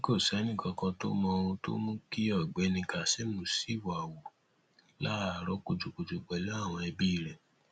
ó ní kò sẹnìkankan tó mọ ohun tó mú kí ọgbẹni kassem ṣìwàhu láàárọ kùtùkùtù pẹlú àwọn ẹbí rẹ